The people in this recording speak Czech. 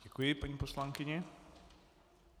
Děkuji paní poslankyni.